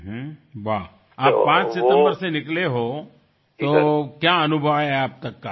વાહતમે 5 સપ્ટેમ્બરથી નીકળ્યા છો તો શું અનુભવ રહ્યો તમારો અત્યાર સુધીનો